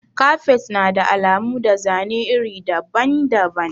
Kafet na da alamu da zane iri daban-daban.